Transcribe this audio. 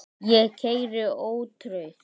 Ég keyri ótrauð